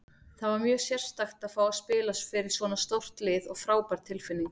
Það var mjög sérstakt að fá að spila fyrir svona stórt lið og frábær tilfinning.